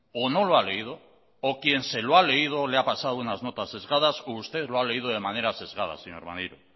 o no lo ha leído o quien se lo ha leído le ha pasado unas notas sesgadas o usted lo ha leído de manera sesgada señor maneiro